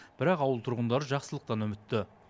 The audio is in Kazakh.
бірақ ауыл тұрғындары жақсылықтан үмітті